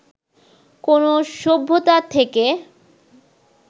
কোন সভ্যতা থেকে